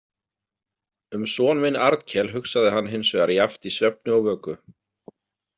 Um son minn Arnkel hugsaði hann hins vegar jafnt í svefni og vöku.